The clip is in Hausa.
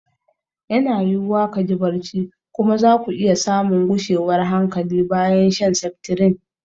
Yana yiwuwa ka ji barci kuma za ku iya samun gushewar hankali bayan shan seftirin.